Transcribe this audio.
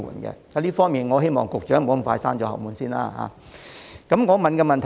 因此，我希望局長不要急於對這項建議"閂後門"。